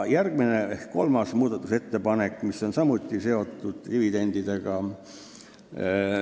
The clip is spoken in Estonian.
Järgmine ehk kolmas muudatusettepanek on samuti dividendidega seotud.